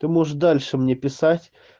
ты можешь дальше мне писать